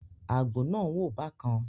Àgbò náà ń wò bákan.